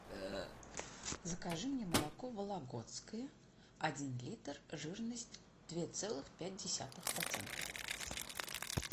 закажи мне молоко вологодское один литр жирность две целых пять десятых процента